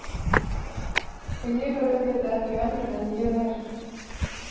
Og ég er auðvitað ekki önnur en ég er.